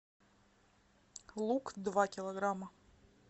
лук два килограмма